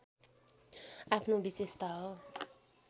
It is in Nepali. आफ्नो विशेषता हो